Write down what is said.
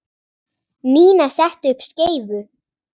Nína setti upp skeifu.